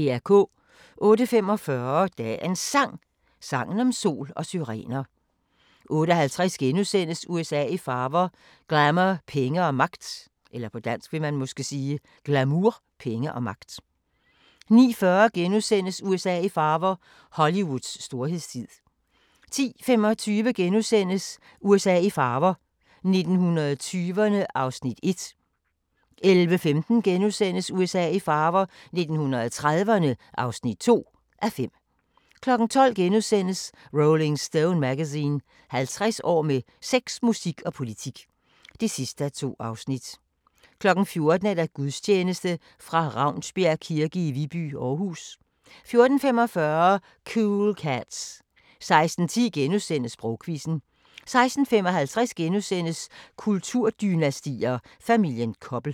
08:45: Dagens Sang: Sangen om sol og syrener 08:50: USA i farver – glamour, penge og magt * 09:40: USA i farver – Hollywoods storhedstid * 10:25: USA i farver – 1920'erne (1:5)* 11:15: USA i farver – 1930'erne (2:5)* 12:00: Rolling Stone Magazine: 50 år med sex, musik og politik (2:2)* 14:00: Gudstjeneste fra Ravnsbjerg kirke i Viby, Aarhus 14:45: Cool Cats 16:10: Sprogquizzen * 16:55: Kulturdynastier: Familien Koppel *